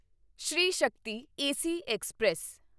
Shri Shakti AC express